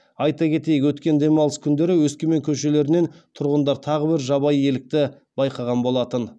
айта кетейік өткен демалыс күндері өскемен көшелерінен тұрғындар тағы бір жабайы елікті байқаған болатын